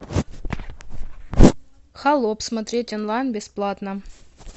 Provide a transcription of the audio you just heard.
холоп смотреть онлайн бесплатно